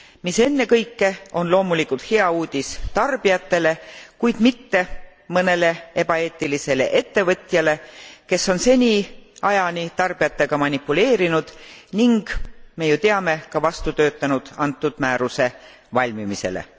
Mis ennekõike on loomulikult hea uudis tarbijatele, kuid mitte mõnele ebaeetilisele ettevõtjale, kes on seniajani tarbijatega manipuleerinud ning me ju teame ka vastu töötanud antud määruse valmimisele.